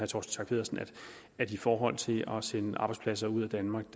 schack pedersen at i forhold til at sende arbejdspladser ud af danmark